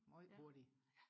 meget hurtigt